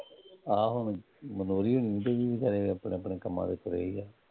ਆਹ ਹੁਣ ਗਿਦਾਵਰੀ ਹੁੰਦੀ ਪਈ ਸੀਗੀ ਖਨੇ ਆਪਣੇ ਦੀ